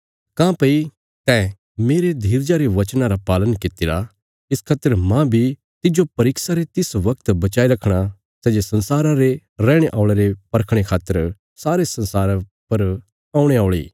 काँह्भई तैं मेरे धीरजा रे वचनां रा पालन कित्तिरा इस खातर मांह बी तिज्जो परीक्षा रे तिस वगत बचाई रखणा सै जे संसारा रे रैहणे औल़यां रे परखणे खातर सारे संसारा पर औणे औल़ी